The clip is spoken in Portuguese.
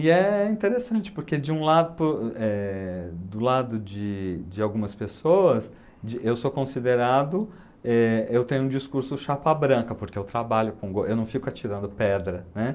E é interessante, porque de um lado, por do lado de de algumas pessoas, de eu sou considerado, eh, eu tenho um discurso chapa branca, porque eu trabalho, com go, eu não fico atirando pedra, né?